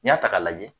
N'i y'a ta k'a lajɛ